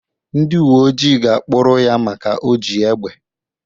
Ndị uwe ojii ga-akpuru ya maka o ji egbe.